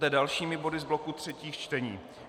Poté dalšími body z bloku třetích čtení.